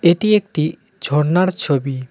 এটি একটি ঝর্ণার ছবি .